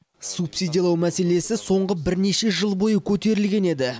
субсидиялау мәселесі соңғы бірнеше жыл бойы көтерілген еді